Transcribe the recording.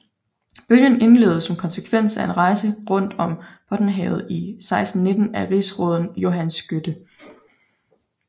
Bølgen indledtes som konsekvens af en rejse rundt om Bottenhavet i 1619 af rigsråden Johan Skytte